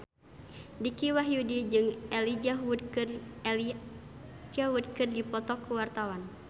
Dicky Wahyudi jeung Elijah Wood keur dipoto ku wartawan